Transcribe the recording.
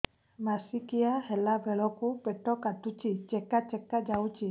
ମାସିକିଆ ହେଲା ବେଳକୁ ପେଟ କାଟୁଚି ଚେକା ଚେକା ଯାଉଚି